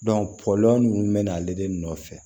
ninnu bɛ na ale de nɔfɛ